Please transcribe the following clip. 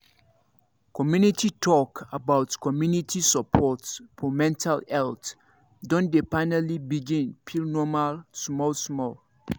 community talk about community support for mental health don dey finally begin feel normal small small